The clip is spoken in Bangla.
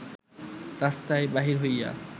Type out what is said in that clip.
রাস্তায় বাহির হইয়া